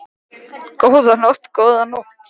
Góða nótt, góða nótt.